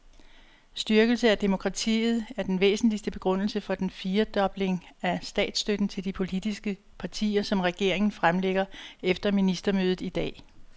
Styrkelse af demokratiet er den væsentligste begrundelse for den firedobling af statsstøtten til de politiske partier, som regeringen fremlægger efter ministermødet i dag.